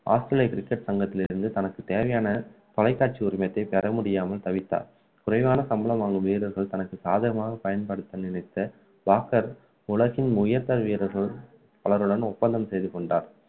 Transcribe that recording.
ஆஸ்திரேலிய cricket சங்கத்திலிருந்து தனக்கு தேவையான தொலைகாட்சி உரிமத்தை தரமுடியாமல் தவித்தார் குறைவான சம்பளம் வாங்கும் வீரர்கள் தனக்கு சாதகமாக பயன்படுத்த நினைத்த பாக்கர் உலகின் உயர்ந்த வீரர்கள் அவர்களுடன் ஒப்பந்தம் செய்து கொண்டார்